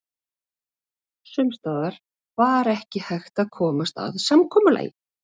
Sums staðar var ekki hægt að komast að samkomulagi.